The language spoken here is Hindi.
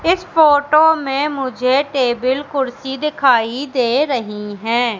इस फोटो में मुझे टेबल कुर्सी दिखाई दे रही हैं।